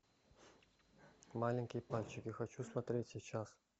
маленькие пальчики хочу смотреть сейчас